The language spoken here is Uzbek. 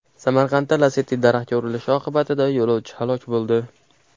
Samarqandda Lacetti daraxtga urilishi oqibatida yo‘lovchi halok bo‘ldi.